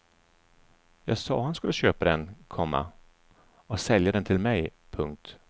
Jag sa att han skulle köpa den, komma och sälja den till mig. punkt